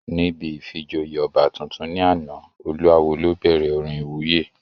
Níbi ìfijoyè ọba tuntun ní àná, olú awó ló bẹ̀rẹ̀ orin ìwúyè